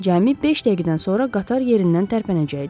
Cəmi beş dəqiqədən sonra qatar yerindən tərpənəcəkdi.